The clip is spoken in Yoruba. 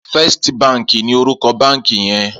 Fèstí bànkí ni órúkò bànkí yèn